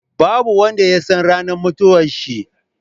Babu wanda yasan ranar mutuwan shi